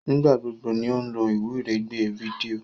Nigbagbogbo ní o lo iwiregbe fídíò.